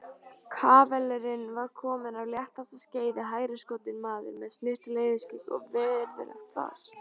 Kavalerinn var kominn af léttasta skeiði, hæruskotinn maður með snyrtilegt yfirskegg og virðulegt fas.